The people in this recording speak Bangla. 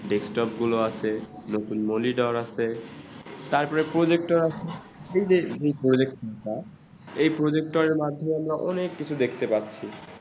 desktop গুলো আছে, monitor আছে তারপরে projector আছে এই যে project বা এই project এর মাধ্যমে আমরা অনেক কিছু দেখতে পাচ্ছি ।